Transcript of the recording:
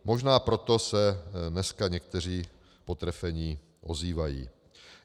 Možná proto se dneska někteří potrefení ozývají.